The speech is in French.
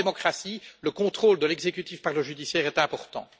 Or, en démocratie, le contrôle de l'exécutif par le judiciaire est important.